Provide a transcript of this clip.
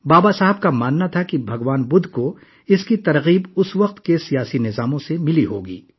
بابا صاحب کا خیال تھا کہ بھگوان بدھ کو اس وقت کے سیاسی نظام سے تحریک ملی ہوگی